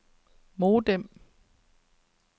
modem